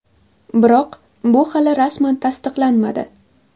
Biroq bu hali rasman tasdiqlanmadi.